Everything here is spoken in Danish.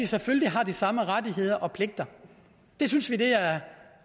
selvfølgelig har de samme rettigheder og pligter det synes vi